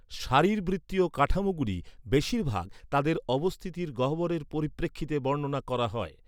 শারীরবৃত্তীয় কাঠামোগুলি বেশির ভাগ, তাদের অবস্থিতির গহ্বরের পরিপ্রেক্ষিতে বর্ণনা করা হয়।